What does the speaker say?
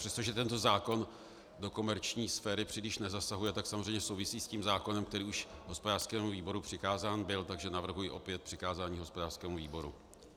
Přestože tento zákon do komerční sféry příliš nezasahuje, tak samozřejmě souvisí s tím zákonem, který už hospodářskému výboru přikázán byl, takže navrhuji opět přikázání hospodářskému výboru.